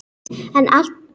En alltof stutt.